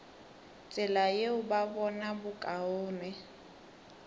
tsela yeo ba bona bokaone